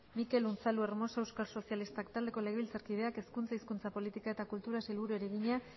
mikel unzalu hermosa euskal sozialistak taldeko legebiltzarkideak hezkuntza hizkuntza politika eta kultura sailburuari egina